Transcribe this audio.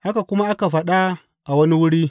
Haka kuma aka faɗa a wani wuri.